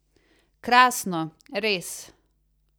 Krasno, res.